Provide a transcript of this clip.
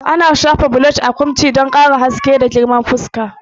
Ana shafa blush a kunci don ƙara haske mai kama da yanayi, dumi, da girma zuwa fuska.